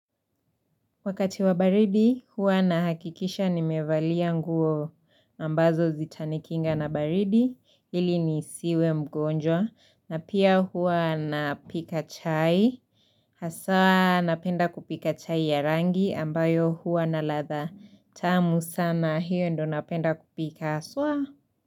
Wakati wa baridi, hua nahakikisha nimevalia nguo ambazo zitanikinga na baridi. Ili nisiwe mgonjwa. Na pia hua napika chai. Hasa napenda kupika chai ya rangi ambayo hua na ladha. Tamu sana hiyo ndo napenda kupika. Haswaa.